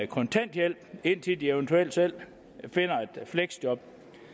kontanthjælp indtil de eventuelt selv finder et fleksjob